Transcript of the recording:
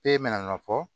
E mɛna nɔfɛ